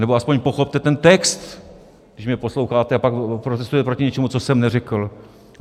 Nebo aspoň pochopte ten text, když mě posloucháte, a pak protestujete proti něčemu, co jsem neřekl.